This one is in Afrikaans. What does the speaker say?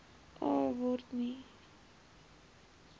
a waarom nie